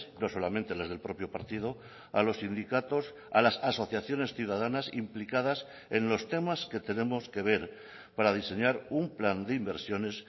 no solamente las del propio partido a los sindicatos a las asociaciones ciudadanas implicadas en los temas que tenemos que ver para diseñar un plan de inversiones